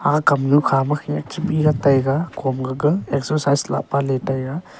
akam nu khama khey ach mira taiga hom gaga exercise lapa le tai aa